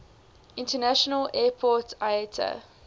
international airport iata